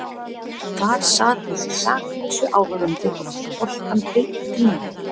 Þar sat þessi saklausi áhorfandi og fékk boltann beint í nefið.